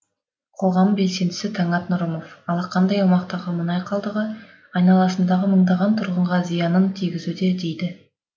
қоғам белсендісі таңат нұрымов алақандай аумақтағы мұнай қалдығы айналасындағы мыңдаған тұрғынға зиянын тигізуде дейді